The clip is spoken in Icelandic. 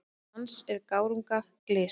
Dans er gárunga glys.